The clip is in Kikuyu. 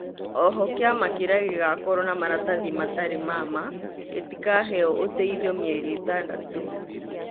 Oho kĩama kirĩa gĩgakorwo na maratathi matarĩ ma ma gĩtikaheo ũteithio mĩeri ĩtandatũ